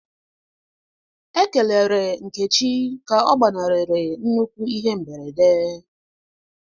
Ekele Nkechi ka ọ gbanarịrị nnukwu ihe mberede.